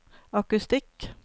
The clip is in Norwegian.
akustikk